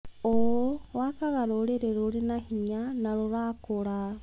ũũ wakaga rũrĩrĩ rũrĩ na hinya na rũrakũra.